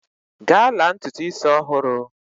Gaa la ntutu isi ọhụrụ!